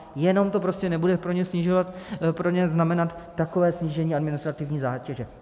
Jenom to prostě nebude pro ně znamenat takové snížení administrativní zátěže.